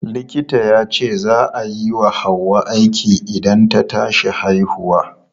Likita yace za a yi wa Hauwa aiki idan ta tashi haihuwa.